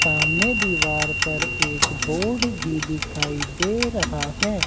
सामने दीवार पर एक बोर्ड भी दिखाई दे रहा है।